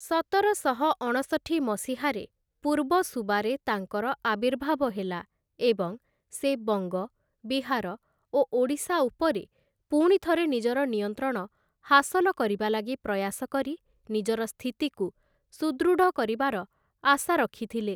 ସତରଶହ ଅଣଷଠି ମସିହାରେ, ପୂର୍ବ ସୁବାରେ ତାଙ୍କର ଆବିର୍ଭାବ ହେଲା ଏବଂ ସେ ବଙ୍ଗ, ବିହାର ଓ ଓଡ଼ିଶା ଉପରେ ପୁଣିଥରେ ନିଜର ନିୟନ୍ତ୍ରଣ ହାସଲ କରିବା ଲାଗି ପ୍ରୟାସ କରି ନିଜର ସ୍ଥିତିକୁ ସୁଦୃଢ଼ କରିବାର ଆଶା ରଖିଥିଲେ ।